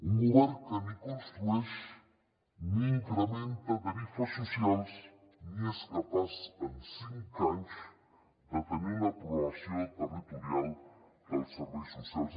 un govern que ni construeix ni incrementa tarifes socials ni és capaç en cinc anys de tenir una programació territorial dels serveis socials